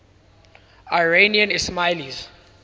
iranian ismailis